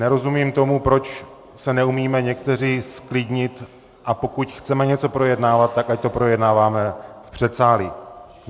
Nerozumím tomu, proč se neumíme někteří zklidnit, a pokud chceme něco projednávat, tak ať to projednáváme v předsálí.